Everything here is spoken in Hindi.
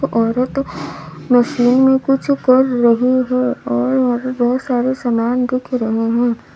औरत मशीन में कुछ कर रही है और वहां बहोत सारे सामान दिख रहे हैं।